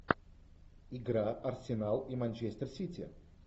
игра арсенал и манчестер сити